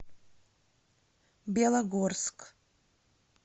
белогорск